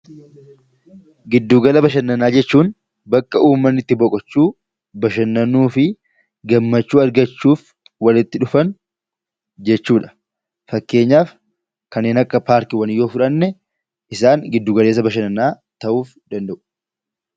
Giddu gala bashannanaa jechuun bakka uummanni itti boqochuu, bashannanuu fi gammachuu argachuuf walitti dhufan jechuudha. Fakkeenyaaf kanneen akka paarkiiwwanii yoo fudhanne isaan giddu gala bashannanaa ta'uu danda'u